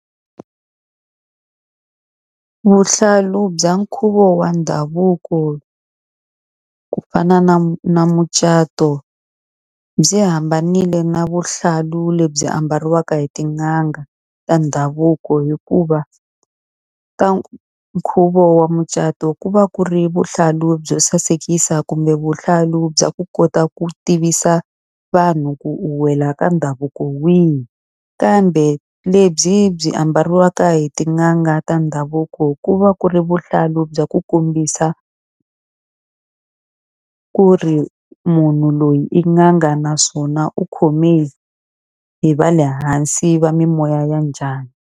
Vuhlalu bya nkhuvo wa ndhavuko ku fana na na mucato byi hambanile na vuhlalu lebyi ambariwaka hi tin'anga ta ndhavuko. Hikuva ta nkhuvo wa mucato ku va ku ri vuhlalu byo sasekisa kumbe vuhlalu bya ku kota ku tivisa vanhu ku u wela ka ndhavuko wihi. Kambe lebyi byi ambariwaka hi tin'anga ta ndhavuko ku va ku ri vuhlalu bya ku kombisa ku ri munhu loyi i n'anga, naswona u khome hi va le hansi va mimoya ya njhani.